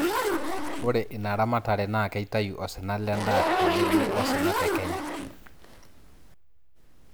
ore ina ramatare naa keitayu osina le daa tenebo osina te kenya.